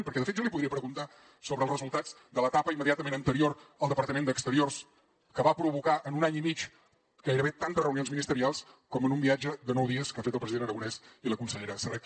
perquè de fet jo li podria preguntar sobre els resultats de l’etapa immediatament anterior al departament d’exteriors que va provocar en un any i mig gairebé tantes reunions ministerials com en un viatge de nou dies que ha fet el president aragonès i la consellera serret